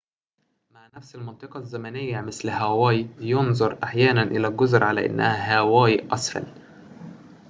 مع نفس المنطقة الزمنية مثل هاواي يُنظر أحياناً إلى الجزر علي أنها هاواي أسفل